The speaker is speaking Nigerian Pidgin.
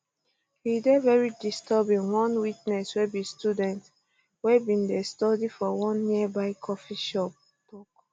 e um dey very disturbing one witness wey be student wey bin dey study for one nearby coffee shop tok